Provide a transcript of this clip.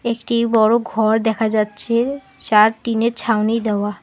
একটি বড় ঘর দেখা যাচ্ছে ছাদ টিনের ছাউনি দেওয়া।